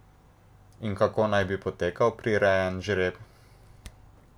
In kako naj bi potekal prirejen žreb?